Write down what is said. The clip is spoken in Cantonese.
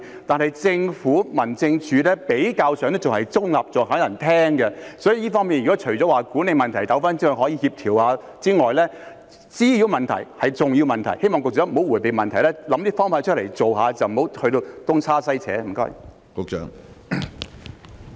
但是，政府、民政事務處比較上是中立的，還有人肯聽，所以除了管理問題糾紛可以協調一下之外，滋擾問題也是重要問題，希望局長不要迴避問題，要想出方法去做，不要東拉西扯。